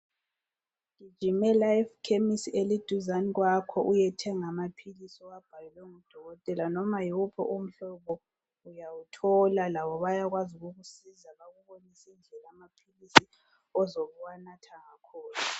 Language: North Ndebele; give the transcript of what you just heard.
Gijimela ekhemisi eliduzane kwakho uyethenga amaphilisi owabhalelwe ngudokotela noma nguphi umhlobo uyawuthola labo bayakwazi ukukusiza bakubonise indlela amaphilisi ozobuwanatha ngakhona.